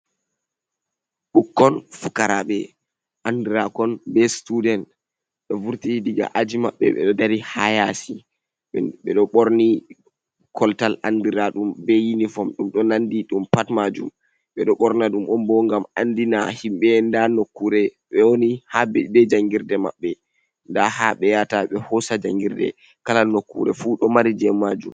Ɓukkon fukaraaɓe anndiraakon be situden ɗo vurti diga aji maɓɓe, ɓe ɗo dari haa yaasi .Ɓe ɗo ɓorni koltal anndiraaɗum be yunifom, ɗum ɗo nanndi ɗum pat maajum .Ɓe ɗo ɓorna ɗum on bo, ngam anndina himɓe ndaa nokkuure ɓe woni, haa be janngirde maɓɓe. Nda haa ɓe yaata ɓe hoosa janngirde. Kala nokkuure fu ɗo mari jey majum.